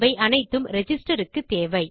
அவை அனைத்தும் ரிஜிஸ்ட்ரேஷன் க்குத் தேவை